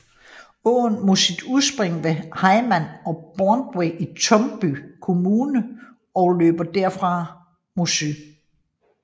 Åen har sit udspring ved Hymark og Borntved i Tumby kommune og løber derfra mod syd